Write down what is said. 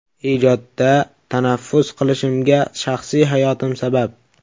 Ijodda tanaffus qilishimga shaxsiy hayotim sabab.